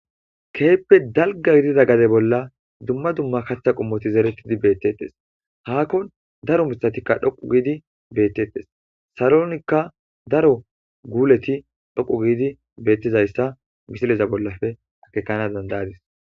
Keehi ppe dalga gidida gaded bolla kathati zerettidi beetteetes.haakon daro mithatikka dhoqqu giidi beetteetes.salonikka daro guuletikka dhoqqu giidi beettizayssa misilezappe ekkanaw dandda7ays.